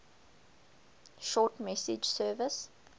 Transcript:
short message service